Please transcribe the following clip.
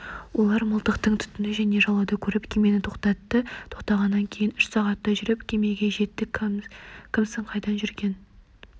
олар мылтықтың түтінін және жалауды көріп кемені тоқтатты тоқтағаннан кейін үш сағаттай жүріп кемеге жеттік кімсің қайдан жүрген